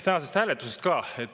Tänasest hääletusest ka.